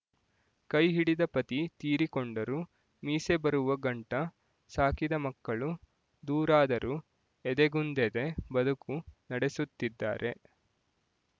ಕೈ ಹಿಡಿದ ಪತಿ ತೀರಿಕೊಂಡರೂ ಮೀಸೆ ಬರುವ ಗಂಟ ಸಾಕಿದ ಮಕ್ಕಳು ದೂರಾದರೂ ಎದೆಗುಂದೆದೆ ಬದುಕು ನಡೆಸುತ್ತಿದ್ದಾರೆ